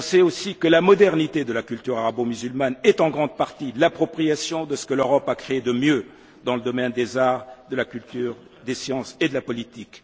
On sait aussi que la modernité de la culture arabo musulmane est en grande partie l'appropriation de ce que l'Europe a créé de mieux dans le domaine des arts, de la culture, des sciences et de la politique.